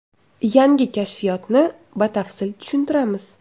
Yangi kashfiyotni batafsil tushuntiramiz.